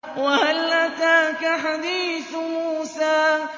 وَهَلْ أَتَاكَ حَدِيثُ مُوسَىٰ